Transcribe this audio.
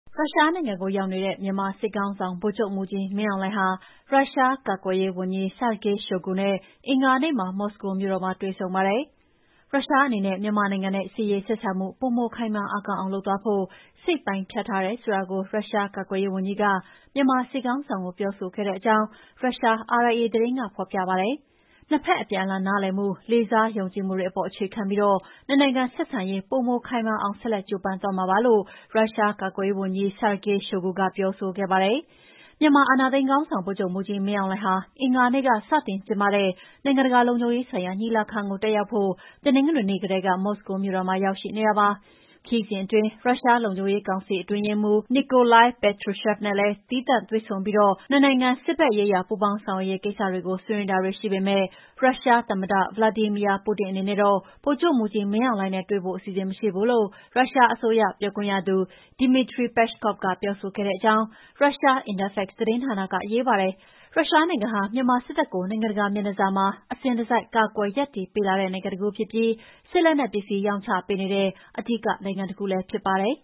ရုရှားနိုင်ငံကိုရောက်နေတဲ့ မြန်မာစစ်ခေါင်းဆောင် ဗိုလ်ချုပ်မှူးကြီး မင်းအောင်လှိုင်ဟာ ရုရှား ကာကွယ်ရေးဝန်ကြီး Sergei Shoigu နဲ့ အင်္ဂါနေ့က မော်စကိုမြို့တော်မှာ တွေ့ဆုံပါတယ်။ ရုရှားအနေနဲ့ မြန်မာနိုင်ငံနဲ့ စစ်ရေး ဆက်ဆံမှု ပိုမို ခိုင်မာအားကောင်းအောင် လုပ်သွားဖို့ စိတ်ပိုင်းဖြတ်ထားတယ်ဆိုတာကို ရုရှားကာကွယ်ရေးဝန်ကြီးက မြန်မာစစ်ခေါင်းဆောင်ကို ပြောဆိုခဲ့ဲတဲ့အကြောင်း ရုရှား RIA သတင်းက ဖော်ပြပါတယ်။ နှစ်ဘက် အပြန်အလှန် နားလည်မှု၊ လေးစား ယုံကြည်မှုတွေပေါ်မှာ အခြေခံပြီး နှစ်နိုင်ငံဆက်ဆံရေး ပိုမို ခိုင်မာအောင် ဆက်လက် ကြိုးပမ်းသွားမှာပါလို့ ရုရှားကာကွယ်ရေးဝန်ကြီး Sergei Shoigu က ပြောဆိုခဲ့ပါတယ်။ မြန်မာအာဏာသိမ်းခေါင်းဆောင် ဗိုလ်ချုပ်မှူးကြီး မင်းအောင်လှိုင်ဟာ အင်္ဂါနေ့က စတင်ကျင်းပတဲ့ နိုင်ငံတကာ လုံခြုံရေးဆိုင်ရာ ညီလာခံကို တက်ရောက်ဖို့ တနင်္ဂနွေနေ့ ကတည်းက မော်စကိုမြို့တော်မှာ ရောက်ရှိနေတာပါ။ ခရီးစဉ်အတွင်း ရုရှား လုံခြုံရေးကောင်စီ အတွင်းရေးမှူး Nikolai Patrushev နဲ့ သီးခြား တွေ့ဆုံပြီး နှစ်နိုင်ငံ စစ်ဘက်ရေးရာ ပူးပေါင်းဆောင်ရွက်ရေးကိစ္စ ဆွေးနွေးတာတွေ ရှိပေမဲ့၊ ရုရှားသမ္မတ ဗလာဒီမီယာပူတင် အနေနဲ့တော့ ဗိုလ်ချုပ်မှူးကြီး မင်းအောင်လှိုင်နဲ့ တွေ့ဖို့ အစီအစဉ် မရှိဘူးလို့ ရုရှားအစိုးရပြောခွင့်ရ Dmitry Peskov ကပြောဆိုတဲ့အကြောင်း ရုရှား Interfax သတင်းဌာနက ရေးထားပါတယ်။ ရုရှားနိုင်ငံဟာ မြန်မာစစ်တပ်ကို နိုင်ငံတကာမျက်နှာစာမှာ အစဉ်တစိုက် ကာကွယ်ရပ်တည်ပေးလာတဲ့ နိုင်ငံတခုဖြစ်ပြီး စစ်လက်နက်ပစ္စည်း ရောင်းပေးနေတဲ့ အဓိကနိုင်ငံတခုလည်းဖြစ်ပါတယ်